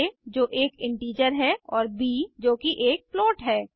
आ जो एक इंटीजर है और ब जो कि एक फ्लोट है